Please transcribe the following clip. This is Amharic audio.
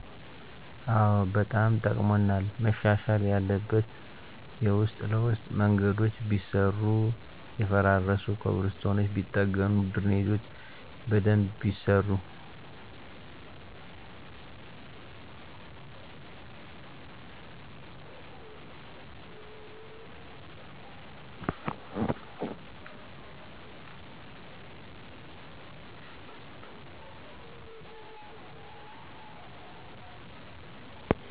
አዎ በጣም ጠቅሞናል መሻሻል ያለበት የዉስጥ ለዉስጥ ምንገዶች ቢሰሩ የፈራረሱ ኮብልስቶኖች ቢጠገኑ ድሬኔጆች በደንብ ቢሰሩ